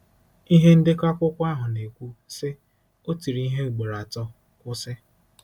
Ihe ndekọ akwụkwọ ahụ na-ekwu, sị: “ O tiri ihe ugboro atọ, kwụsị.